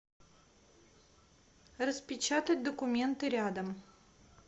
распечатать документы рядом